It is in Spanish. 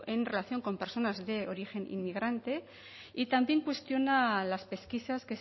en relación con personas de origen inmigrante y también cuestiona las pesquisas